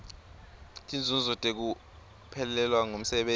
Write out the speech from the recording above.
tinzuzo tekuphelelwa ngumsebenti